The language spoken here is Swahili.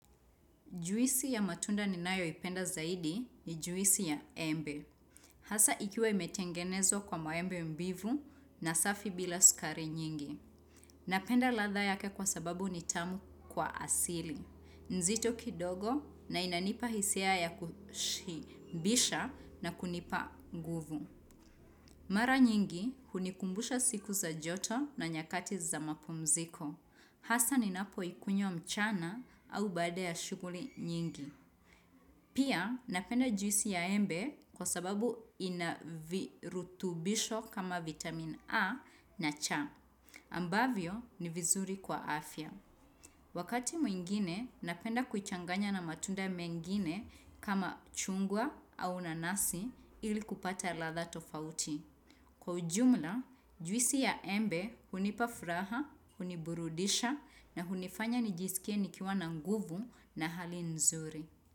Juisi ya matunda ninayoipenda zaidi ni juisi ya embe. Hasa ikiwa imetengenezwa kwa maembe mbivu na safi bila sukari nyingi. Napenda ladha yake kwa sababu ni tamu kwa asili. Nzito kidogo na inanipa hisia ya kushibisha na kunipa nguvu. Mara nyingi hunikumbusha siku za joto na nyakati za mapumziko. Hasa ninapo ikunywa mchana au baada ya shuguli nyingi. Pia napenda juisi ya embe kwa sababu ina virutubisho kama vitamin A na C ambavyo ni vizuri kwa afya. Wakati mwingine, napenda kuchanganya na matunda mengine kama chungwa au nanasi ili kupata ladha tofauti. Kwa ujumla, juisi ya embe hunipa furaha, huniburudisha na hunifanya nijisikie nikiwa na nguvu na hali nzuri.